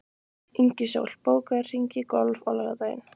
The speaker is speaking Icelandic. Ingisól, bókaðu hring í golf á laugardaginn.